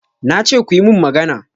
Na ce kuyi min magana!